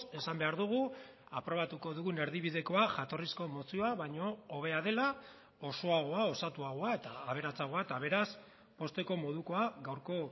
esan behar dugu aprobatuko dugun erdibidekoa jatorrizko mozioa baino hobea dela osoagoa osatuagoa eta aberatsagoa eta beraz pozteko modukoa gaurko